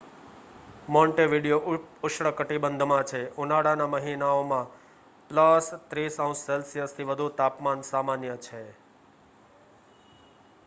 Montevideo ઉપઉષ્ણકટિબંધમાં છે; ઉનાળાના મહિનાઓમાં +30°c થી વધુ તાપમાન સામાન્ય છે